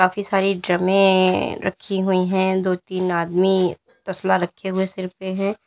काफी सारी ड्रमें रखी हुई है दो तीन आदमी तसला रखे हुए सिर पे है।